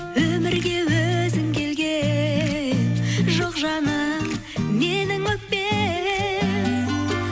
өмірге өзің келген жоқ жаным менің өкпем